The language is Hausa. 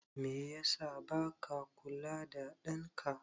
Meye yasa baka kula ɗan ka?